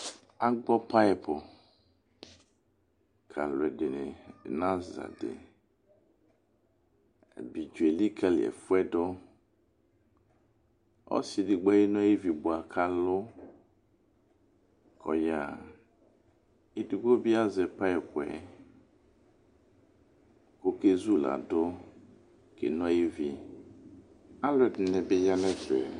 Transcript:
Agbɔ payɩpʊ kalʊ'ɛdɩnɩ n'azadɩ Abidzo elikalɩ ɛfʊɛdʊ ɔsɩ edigbo eno ayivi bʊa ka lʊ kɔƴaxa Edigbo bɩ azɛ payɩpʊɛ kɔkezuladʊ keno ayivi alʊ ɛdɩnɩ bɩ ya n'ɛfɛ